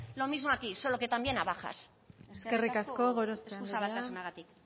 lo mismo aquí solo que también a bajas eskerrik asko eskuzabaltasunagatik